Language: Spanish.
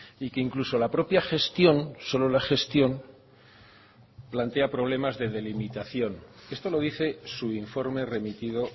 y que incluso la propia gestión solo la gestión plantea problemas de delimitación esto lo dice su informe remitido